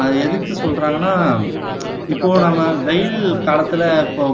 ஆஹ் எதுக்கு சொல்றாங்கன்னா இப்போ நம்ம வெயில் காலத்துல இப்போ